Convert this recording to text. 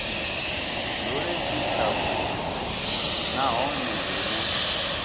dzule tshi tshavhudi nahone hune